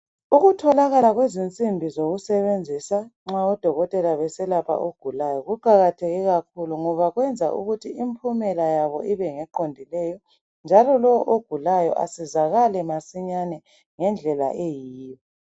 Ukutholakala kwezinsimbi zokusebenzisa nxa odokotela beselapha ogulayo kuqakathekile kakhulu ngoba kwenza impumela yabo ibe ngeqondileyo njalo lowo ogulayo asizakale masinyane ngendlela eyiyo